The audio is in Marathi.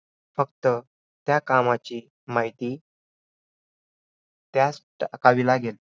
फक्त त्या कामाची माहिती त्याच लागेल.